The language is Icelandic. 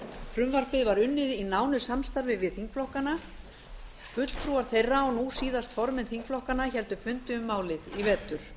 frumvarpið var unnið í nánu samstarfi við þingflokkana fulltrúar þeirra og nú síðast formenn þingflokkanna héldu fundi um málið í vetur